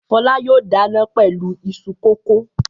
Fọlá yóò dáná pẹ̀lú iṣu kòkó.